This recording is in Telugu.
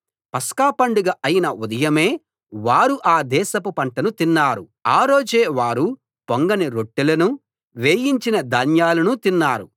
పస్కా పండగ అయిన ఉదయమే వారు ఆ దేశపు పంటను తిన్నారు ఆ రోజే వారు పొంగని రొట్టెలనూ వేయించిన ధాన్యాలనూ తిన్నారు